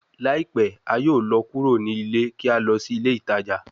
Laipẹ a yoo lọ kuro ni ile ki a lọ si ile itaja